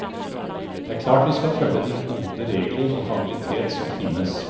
Det er klart vi skal følge de gode regler om habilitet som finnes.